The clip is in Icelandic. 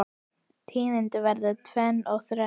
Tíðin verður tvenn og þrenn